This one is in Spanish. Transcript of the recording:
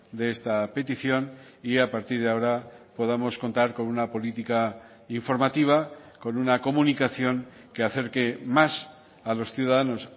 de esta petición y a partir de ahora podamos contar con una política informativa con una comunicación que acerque más a los ciudadanos